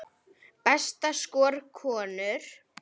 Besta skor, konur